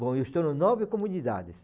Bom, eu estou em nove comunidades.